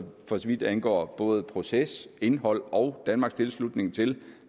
vidt angår både proces indhold og danmarks tilslutning til